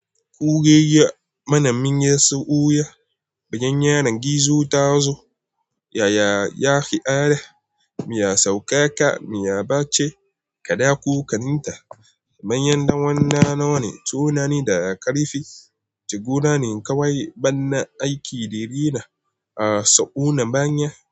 Kuregeya, mana minye sa'uya, banen yana gizo ta zo. Yaya yaƙi are, mi ya sauka ka, mi ya bace kaɗa ku kaninta. Banen ɗan wanna nawa ne, tunani daga ƙarfe. Jiguna ne kawai, bana aiki da rina a sa'unan banen.